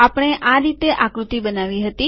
આપણે આ રીતે આ આકૃતિ બનાવી હતી